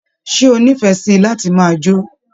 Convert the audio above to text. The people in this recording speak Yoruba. Ṣe o nífẹẹ sí láti máa jó?